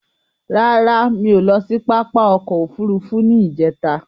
Rara, mi o lọ sí pápá òkò òfúrùfú ní ijẹ̀ta